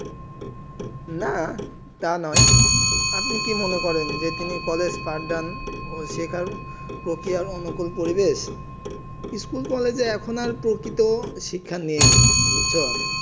না তা নোই আপনি কি মনে করেন কি তিনি কলেজ পৰ্দান শেখার প্রক্রিয়া অনুকূল পরিবেশ স্কুল কলেজ আর প্রকীর্ত শিক্ষা নেই বুঝছেন